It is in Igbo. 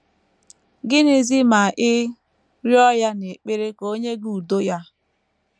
Gịnịzi ma ị rịọ ya n’ekpere ka o nye gị udo ya?